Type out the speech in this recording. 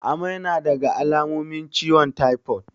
Amai nadaga alamomin ciwon taifo